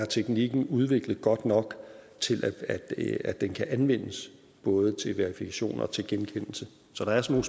teknikken er udviklet godt nok til at den kan anvendes både til verifikation og til genkendelse så der er sådan